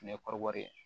Ne kɔrɔbɔrɔ ye